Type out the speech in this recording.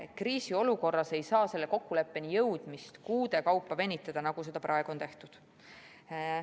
Kriisiolukorras ei saa sellele kokkuleppele jõudmisega aga kuude kaupa venitada, nagu seda praegu on tehtud.